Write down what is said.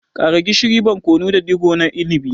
Ƙara gishiri, barkono da digo na inibi.